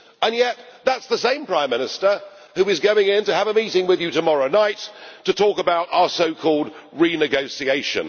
Yet that is the same Prime Minister who is going to have a meeting with you tomorrow night to talk about our so called renegotiation.